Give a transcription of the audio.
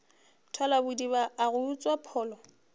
thalabodiba a go utswa pholo